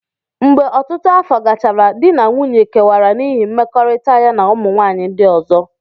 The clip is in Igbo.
Mgbe ọtụtụ afọ gachara, di na nwunye kewara n'ihi mmekọrịta ya na ụmụ nwanyị ndị ọzọ.